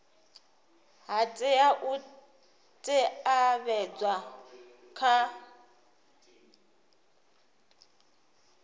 ha tea u teavhedzwa kha